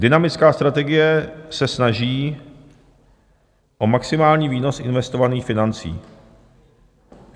Dynamická strategie se snaží o maximální výnos investovaných financí.